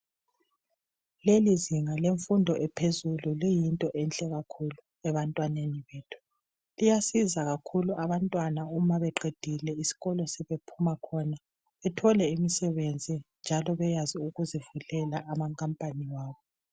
lelizinga lemfundo ephezulu liyinto enhle kakhulu ebantwaneni bethu liyasiza kakhulu abantwana sebeqedile isikolo kumbe sebephuma khona bethole imisebenzi njalo bebekwazi ukuzivulela ama company abo